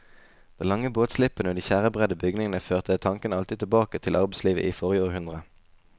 Den lange båtslippen og de tjærebredde bygningene førte tanken alltid tilbake til arbeidslivet i forrige århundre.